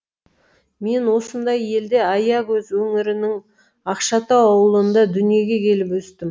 мен осындай елде аякөз өңірінің ақшатау ауылында дүниеге келіп өстім